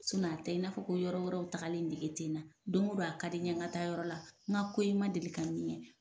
a tɛ i n'a fɔ ko yɔrɔ yɔrɔw tagali nɛgɛ tɛ na don o don a ka di n ye n ka taa yɔrɔ la n ko i ma deli ka min ye